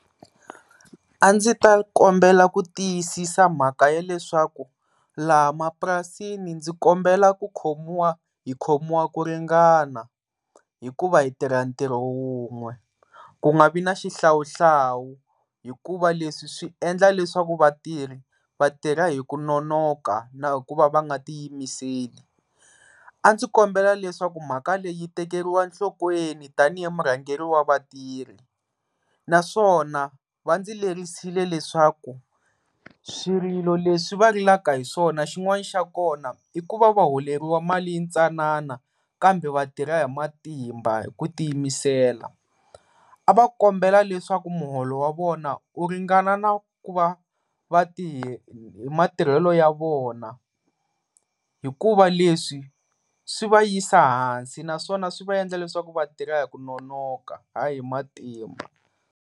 A ndzi ta kombela ku tiyisisa mhaka ya leswaku laha mapurasini ndzi kombela ku khomiwa hi khomiwa ku ringana hikuva hi tirha ntirho wun'we ku nga vi na xihlawuhlawu hikuva leswi swi endla leswaku vatirhi vatirha hi ku nonoka na hi ku va va nga tiyimiseli. A ndzi kombela leswaku mhaka leyi yi tekeriwa enhlokweni tanihi murhangeri wa vatirhi naswona va ndzi lerisile leswaku swirilo leswi va rilaka hi swona xin'wana xa kona i ku va va holeriwa mali yintsanana kambe vatirha hi matimba ku tiyimisela. A va kombela leswaku muholo wa vona u ringana na ku va matirhelo ya vona hikuva leswi swi va yisa hansi naswona swi va endla leswaku vatirha hi ku nonoka hayi hi matimba.